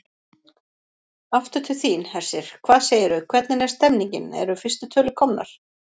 Aftur til þín, Hersir, hvað segirðu, hvernig er stemningin, eru fyrstu tölur komnar?